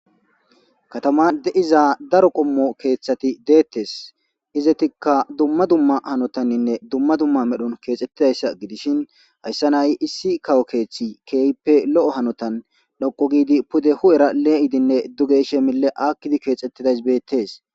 Kaataman deiiza daaro qommo keththati dettes izzetikka dumma dumma haanotaninne dumma dumma medhdhon kexxetidayssa giddishin hayssan ha'i issi kawo keththi kehippe lo'o haanotan dhoqqu giidi pude hu'era leiidine duuge yishshe mille aakkidi kexxetidayssi bettes.